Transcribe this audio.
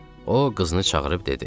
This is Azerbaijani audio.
O qızını çağırıb dedi: